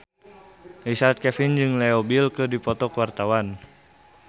Richard Kevin jeung Leo Bill keur dipoto ku wartawan